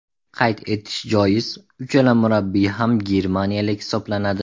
Qayd etish joiz, uchala murabbiy ham germaniyalik hisoblanadi.